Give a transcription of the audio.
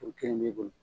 O kelen b'i bolo